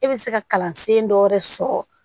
E bɛ se ka kalansen dɔ wɛrɛ sɔrɔ